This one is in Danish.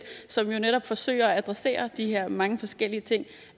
som jo netop forsøger at adressere de her mange forskellige ting